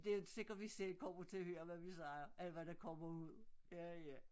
Det ikke sikkert vi selv kommer til at høre hvad vi siger eller hvad der kommer ud